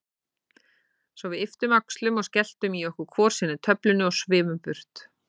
Svo við ypptum öxlum og skelltum í okkur hvor sinni töflunni og svifum burt.